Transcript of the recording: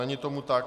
Není tomu tak.